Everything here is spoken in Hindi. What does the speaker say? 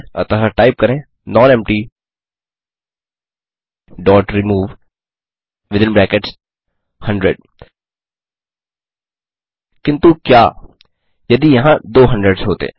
अतः टाइप करें nonemptyरिमूव किन्तु क्या यदि यहाँ दो 100एस होते